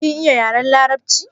Kin iya yaren larabci?